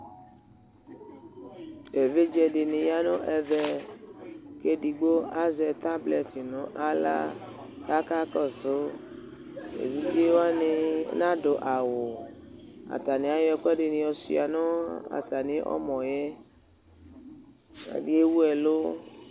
Evidze dɩnɩ ya nʋ ɛvɛ, kʋ edigbo azɛ tablɛtɩ nʋ aɣla, kʋ aka kɔsʋ Evidze wanɩ anadʋ awu Atanɩ ayɔ ɛkʋɛdɩ shʋa nʋ atamɩ ɔmɔ yɛ Ɔsɩ yɛ bɩ ewu ɛlʋ